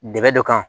Dɛmɛ dɔ kan